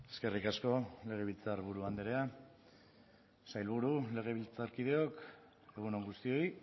eskerrik asko legebiltzarburu andrea sailburu legebiltzarkideok egun on guztioi